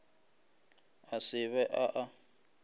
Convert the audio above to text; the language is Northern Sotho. a se be a a